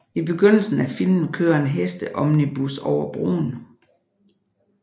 I begyndelsen af filmen kører en hesteomnibus over broen